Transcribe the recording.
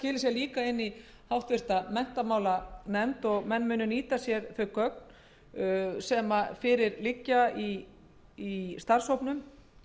líka inn í háttvirtri menntamálanefnd og menn muni nýta sér þau gögn sem fyrir liggja í starfshópnum